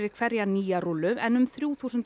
nýja rúllu en um þrjú þúsund